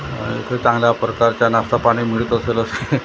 आह इथे चांगल्या प्रकारचा नाष्टा पाणी मिळत असेल असं वाट--